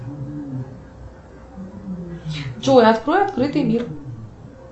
джой открой открытый мир